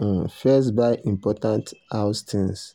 um first buy important house things.